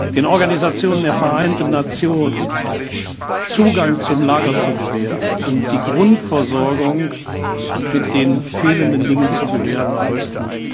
den Organisationen der Vereinten Nationen Zugang zum Lager zu gewähren und die Grundversorgung mit den fehlenden Dingen zu gewährleisten.